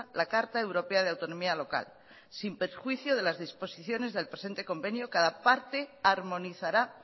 la carta europea de autonomía local sin perjuicio de las disposiciones del presente convenio cada parte armonizará